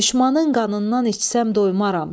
Düşmənin qanından içsəm doymaram.